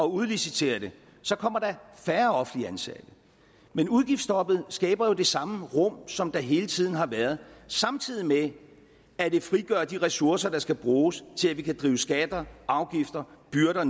udliciterer det så kommer der færre offentligt ansatte men udgiftsstoppet skaber jo det samme rum som der hele tiden har været samtidig med at det frigør de ressourcer der skal bruges til at vi kan drive skatter afgifter byrder